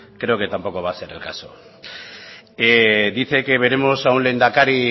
creo que tampoco va a ser el caso dice que veremos a un lehendakari